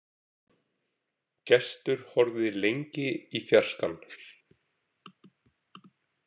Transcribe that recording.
Gestur horfði lengi í fjarskann.